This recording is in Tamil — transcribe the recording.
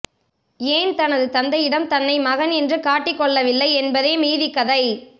ஏன் தனது தந்தையிடம் தன்னை மகன் என்று காட்டி கொள்ளவில்லை என்பதே மீதிக்கதை